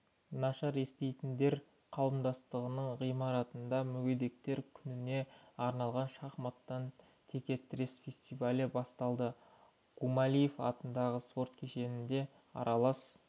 нашар еститіндер қауымдастығының ғимаратында мүгедектер күніне арналған шахматтан тіке-тірес фестивалі басталады гумилев атындағы спорт кешенінде аралас